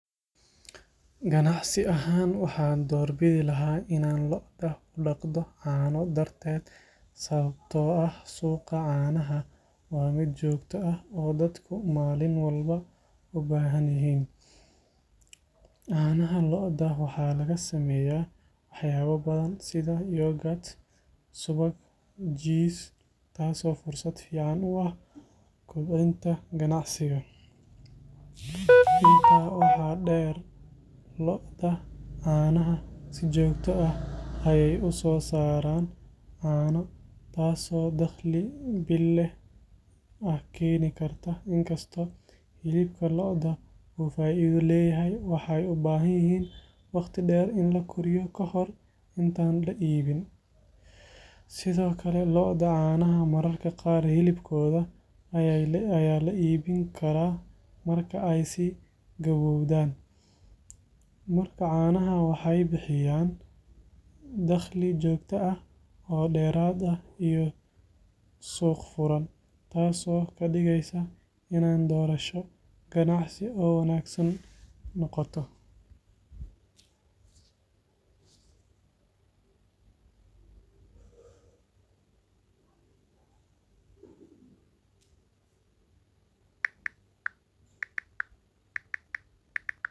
Ganacsi ahaan, waxaan doorbidi lahaa inaan lo’da u dhaqdo caano darteed sababtoo ah suuqa caanaha waa mid joogto ah oo dadku maalin walba u baahan yihiin. Caanaha lo'da waxaa laga sameeyaa waxyaabo badan sida yoghurt, subag, jiis, taasoo fursad fiican u ah kobcinta ganacsiga. Intaa waxaa dheer, lo’da caanaha si joogto ah ayey u soo saaraan caano, taasoo dakhli bille ah keeni karta. Inkastoo hilibka lo’da uu faa’iido leeyahay, waxay u baahan yihiin waqti dheer in la koriyo kahor intaan la iibin. Sidoo kale, lo’da caanaha mararka qaar hilibkooda ayaa la iibin karaa marka ay sii gabowdaan. Marka, caanaha waxay bixiyaan dakhli joogto ah, oo dheeraad ah, iyo suuq furan, taasoo ka dhigaysa inay doorasho ganacsi oo wanaagsan noqoto.